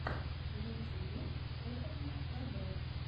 в ютьюбе кухонное кб